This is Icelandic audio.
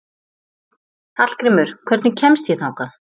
Hallgrímur, hvernig kemst ég þangað?